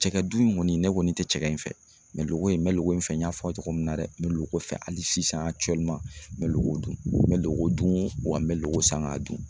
Cɛkɛdun in kɔni ne kɔni tɛ cɛkɛ in fɛ mɛ lolo ko in me loko in fɛ n y'a fɔ aw ye cogo min na dɛ me loko fɛ hali sisan me loko dun, me loko dun wa me loko san k'a dun